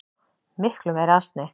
Miklu meiri asni.